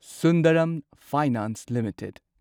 Sundaram finance limited